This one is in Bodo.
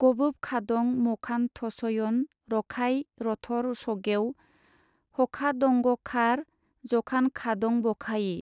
गबोबखादं मखानथसयन रखाइ-रथर सगेव हखादंगखार जखानखादंबखायि।